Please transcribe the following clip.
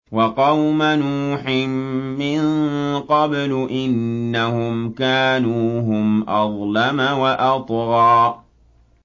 وَقَوْمَ نُوحٍ مِّن قَبْلُ ۖ إِنَّهُمْ كَانُوا هُمْ أَظْلَمَ وَأَطْغَىٰ